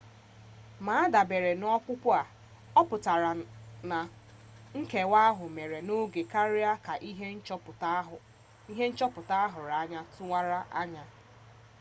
ma adabere n'ọkpụkpụ a ọputara na nkewa ahụ mere n'oge karịa ka ihe nchọpụta ahụrụ anya tụwara anya